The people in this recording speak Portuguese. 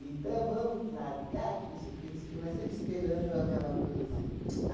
Então, vamos largar, que não sei o quê, não sei o quê, mas sempre esperando aquela coisa assim ps